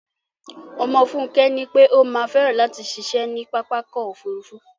Ọmọ Fúnkẹ́ nípé ó má fẹ́ràn látì ṣiṣé ní pápákọ̀ ofúrufú